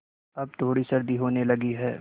अब थोड़ी सर्दी होने लगी है